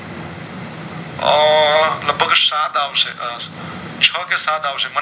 ઓર લગભગ સાત આવશે છ કે સાત આવશે